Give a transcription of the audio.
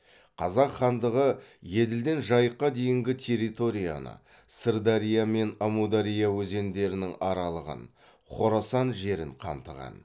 қазақ хандығы еділден жайыққа дейінгі территорияны сырдария мен әмудария өзендерінің аралығын хорасан жерін қамтыған